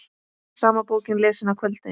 Sama bókin lesin að kvöldi.